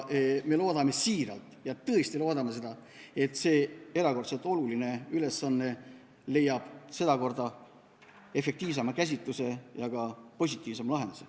Me loodame siiralt, me tõesti loodame seda, et see erakordselt oluline ülesanne leiab sedakorda efektiivsema käsitluse ja ka positiivsema lahenduse.